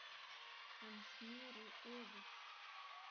Hann snéri öfugt